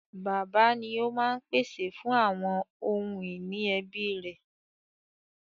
Bàbá ni ó máa ń pèsè fún àwọn ohun ìní ẹbí rẹ̀.